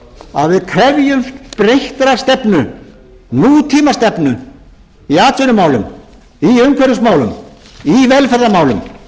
að við krefjumst breyttrar stefnu nútímastefnu í atvinnumálum í umhverfismálum í velferðarmálum